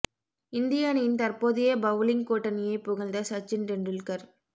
இந்திய அணியின் தற்போதைய பவுலிங் கூட்டணியை புகழ்ந்த சச்சின் டெண்டுல்கர்